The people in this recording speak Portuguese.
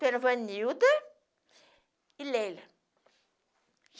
Pelo Vanilda e Leila.